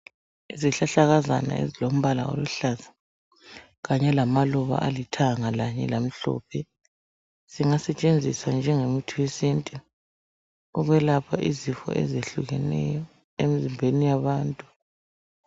Izihlahlakazana ezilombala oluhlaza kanye lamaluba alithanga kanye lamhlophe zingasetshenziswa njengemithi yesintu ukwelapha izifo ezitshiyeneyo emzimbeni yabantu.